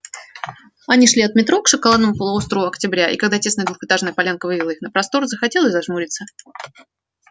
они шли от метро к шоколадному полуострову октября и когда тесная двухэтажная полянка вывела их на простор захотелось зажмуриться